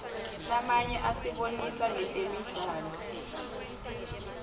lamanye asibonisa ngetemidlalo